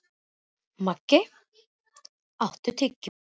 Maggey, áttu tyggjó?